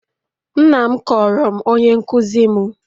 Nna m kọọrọ m onye nkụzi m.